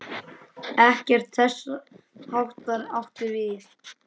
Ekkert þess háttar átti við.